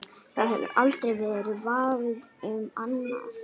Það hefur aldrei verið vafi um annað.